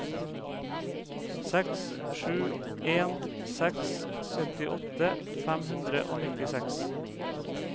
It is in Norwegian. seks sju en seks syttiåtte fem hundre og nittiseks